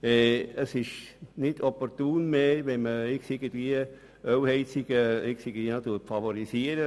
Es ist nicht mehr opportun, heute Ölheizungen zu favorisieren.